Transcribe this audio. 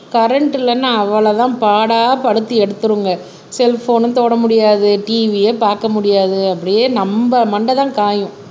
current இல்லைன்னா அவ்வளவுதான் பாடாய் படுத்தி எடுத்துருங்க செல்போனும் தொடமுடியாது TV அ பார்க்க முடியாது அப்படியே நம்ம மண்டைதான் காயும்